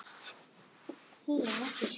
Ég sá þá á sveitaballi um daginn.